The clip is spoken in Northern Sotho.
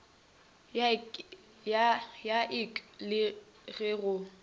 ya ik le ge go